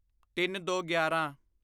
ਤਿੰਨਦੋਗਿਆਰਾਂ